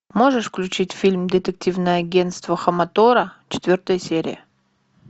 можешь включить фильм детективное агентство хаматора четвертая серия